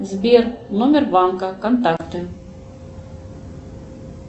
сбер номер банка контакты